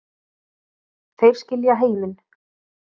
Þeir skilja heiminn